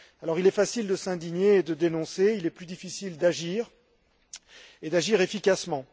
Il est facile de s'indigner et de dénoncer, il est plus difficile d'agir, et d'agir efficacement.